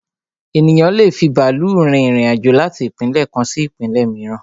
Ènìyàn lé è fi bàálù rin irin-àjò láti ìpínlẹ̀ kan sí ìpínlẹ̀ mìíràn